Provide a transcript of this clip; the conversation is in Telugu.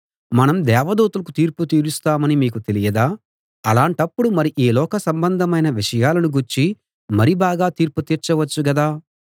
మనం దేవదూతలకు తీర్పు తీరుస్తామని మీకు తెలియదా అలాంటప్పుడు మరి ఈ లోక సంబంధమైన విషయాలను గూర్చి మరి బాగా తీర్పు తీర్చవచ్చు గదా